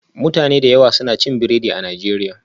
Mutane da yawa suna cin biredi a Najeriya